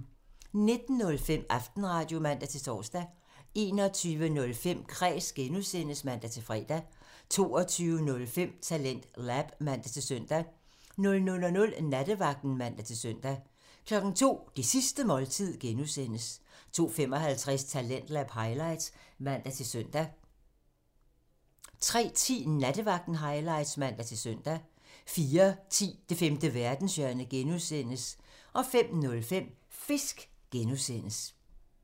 19:05: Aftenradio (man-tor) 21:05: Kræs (G) (man-fre) 22:05: TalentLab (man-søn) 00:00: Nattevagten (man-søn) 02:00: Det Sidste Måltid (G) 02:55: Talentlab highlights (man-søn) 03:10: Nattevagten highlights (man-søn) 04:10: Det Femte Verdenshjørne (G) (man) 05:05: Fisk! (G) (man)